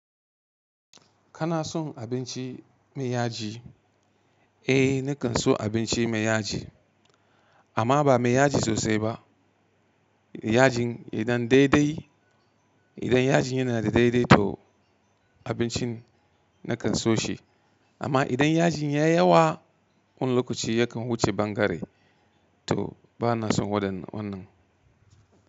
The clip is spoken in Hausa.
Kana son abinci mai yaji? Eh, nakan so abinci mai yaji amma ba mai yaji sosai ba. Yajin idan daidai, idan yajin yana da daidai to abincin nakan so shi. Amma idan yajin ya yi yawa, wani lokaci yakan wuce bangare to bana son waɗannan wannan.